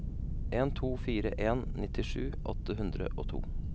en to fire en nittisju åtte hundre og to